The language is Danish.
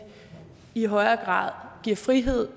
i højere grad giver frihed